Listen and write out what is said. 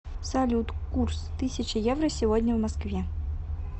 салют курс тысяча евро сегодня в москве